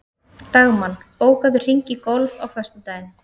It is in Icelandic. Dagmann, bókaðu hring í golf á föstudaginn.